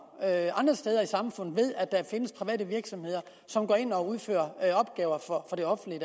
andre steder i samfundet ved at der findes private virksomheder som går ind og udfører opgaver for det offentlige